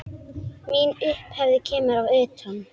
Mín upphefð kemur að utan.